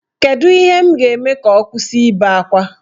Kedu ihe m ga-eme ka ọ kwụsị ibe akwa?